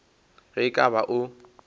ge e ka ba o